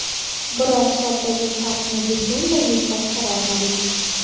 Biroq hisobdagi farqni butunlay yo‘qqa chiqara olmadik.